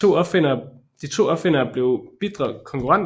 De to opfindere blev bitre konkurrenter